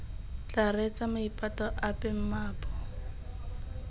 tla reetsa maipato ape mmaabo